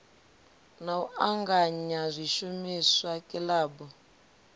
na u anganya zwishumiswa kilabu